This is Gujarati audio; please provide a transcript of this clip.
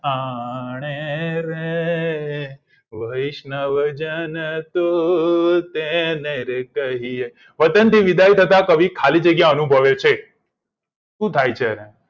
આણે રે વૈશ્નજન તું તેનેરે કહીએ વતનથી વિદાય થતા કવિ ખાલી જગ્યા અનુભવે છે સુ થાય છે એને